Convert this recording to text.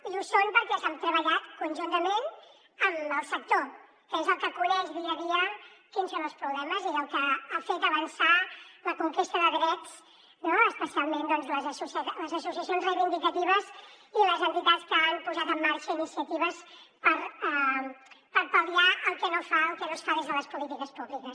i ho són perquè s’han treballat conjuntament amb el sector que és el que coneix dia a dia quins són els problemes i el que ha fet avançar la conquesta de drets no especialment doncs les associacions reivindicatives i les entitats que han posat en marxa iniciatives per pal·liar el que no es fa des de les polítiques públiques